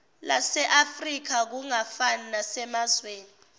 laseafrika kungafani nasemazweni